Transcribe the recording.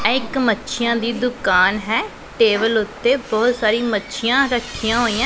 ਐ ਇੱਕ ਮੱਛੀਆਂ ਦੀ ਦੁਕਾਨ ਹੈ ਟੇਬਲ ਉੱਤੇ ਬਹੁਤ ਸਾਰੀ ਮੱਛੀਆਂ ਰੱਖੀਆਂ ਹੋਈਆਂ--